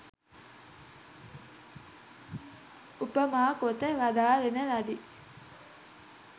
උපමා කොට වදාරන ලදී